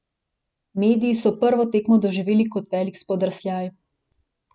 Mediji so prvo tekmo doživeli kot velik spodrsljaj.